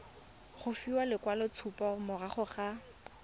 go fiwa lekwaloitshupo morago ga